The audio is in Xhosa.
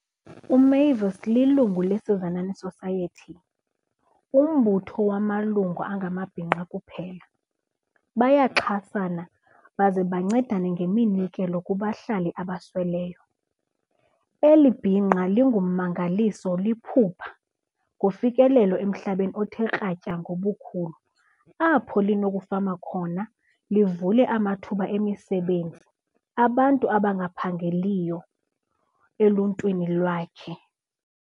UMavis lilungu leSizanani Society, umbutho wamalungu angamabhinqa kuphela. Bayaxhasana baze bancedane ngeminikelo kubahlali abasweleyo. Eli bhinqa lingummangaliso liphupha ngofikelelo emhlabeni othe kratya ngobukhulu apho linokufama khona livule amathuba emisebenzi abantu abangaphangeliyo eluntwini lwakhe.